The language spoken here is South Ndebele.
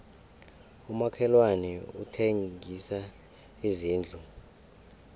umakhelwani uthengisa izindlu